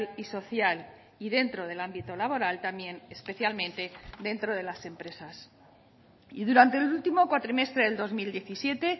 y social y dentro del ámbito laboral también especialmente dentro de las empresas y durante el último cuatrimestre del dos mil diecisiete